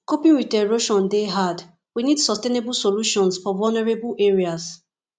coping with erosion dey hard we need sustainable solutions for vulnerable areas